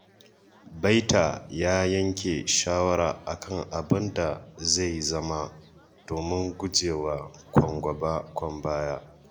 Baita ya yanke shawara a kan abin da zai zama, domin guje wa kwan-gaba-kwan-baya.